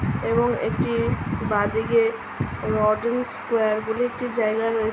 এবং একটি বাঁ দিকে স্কোয়ার বলে একটি জায়গা রয়ে --